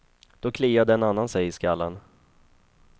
Då kliade en annan sig i skallen.